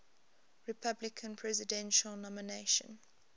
republican presidential nomination